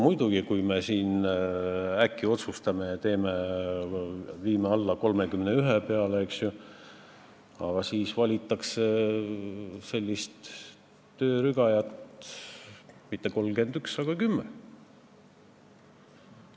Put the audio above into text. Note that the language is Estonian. Ja kui me siin äkki otsustame viia parlamendiliikmete arvu 31 peale, siis võib juhtuda, et siia ei valita mitte 31 töörügajat, vaid neid on kümme.